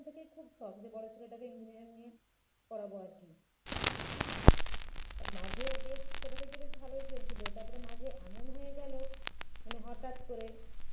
থেকেই খুব শখ যে বড়ো ছেলেটাকে engineering নিয়ে পড়াবো আর কী মাঝে বেশ ছোট থেকে বেশ ভালই চলছিল তারপরে মাঝে এমন হয়ে গেল মানে হঠাৎ করে